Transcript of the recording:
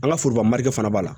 An ka foroba marike fana b'a la